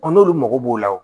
n'olu mago b'o la